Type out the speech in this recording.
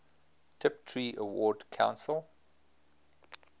tiptree award council